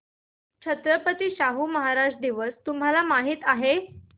छत्रपती शाहू महाराज दिवस तुम्हाला माहित आहे